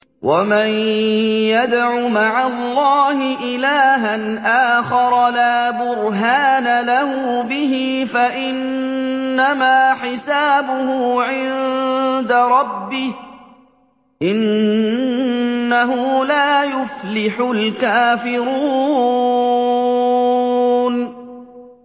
وَمَن يَدْعُ مَعَ اللَّهِ إِلَٰهًا آخَرَ لَا بُرْهَانَ لَهُ بِهِ فَإِنَّمَا حِسَابُهُ عِندَ رَبِّهِ ۚ إِنَّهُ لَا يُفْلِحُ الْكَافِرُونَ